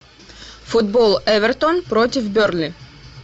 футбол эвертон против бернли